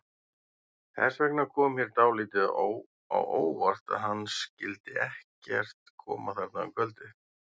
Þess vegna kom mér dálítið á óvart að hann skyldi ekkert koma þarna um kvöldið.